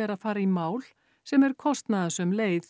er að fara í mál sem er kostnaðarsöm leið